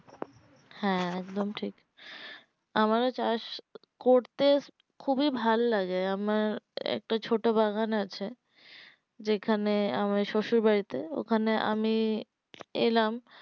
হ্যাঁ একদম ঠিক আমারও চাষ করতে খুবই ভাল লাগে আমার একটা ছোট বাগান আছে যেখানে আমার শশুর বাড়িতে ওখানে আমি এলাম